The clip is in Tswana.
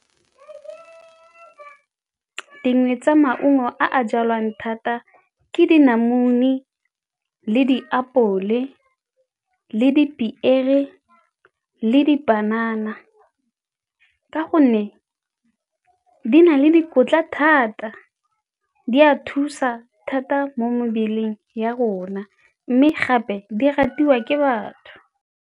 Dingwe tsa maungo a a jalwang thata ke dinamune le diapole le dipiere le dipanana ka gonne di na le dikotla thata, di a thusa thata mo mebeleng ya rona mme gape di ratiwa ke batho.